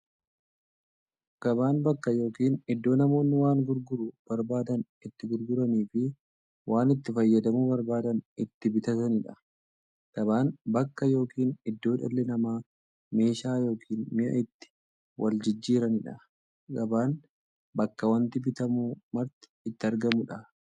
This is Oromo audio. Gabaan bakka yookiin iddoo namoonni waan gurguruu barbaadan itti gurguraniifi waan itti fayyadamuu barbaadan itti bitataniidha. Gabaan bakka yookiin iddoo dhalli namaa meeshaa yookiin mi'a itti waljijjiiraniidha. Gabaan bakka wanti bitamu marti itti argamuudha.